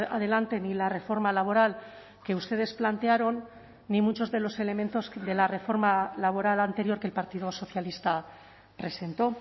adelante ni la reforma laboral que ustedes plantearon ni muchos de los elementos de la reforma laboral anterior que el partido socialista presentó